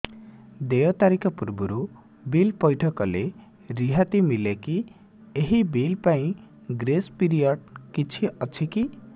ଦେୟ ତାରିଖ ପୂର୍ବରୁ ବିଲ୍ ପୈଠ କଲେ ରିହାତି ମିଲେକି ଏହି ବିଲ୍ ପାଇଁ ଗ୍ରେସ୍ ପିରିୟଡ଼ କିଛି ଅଛିକି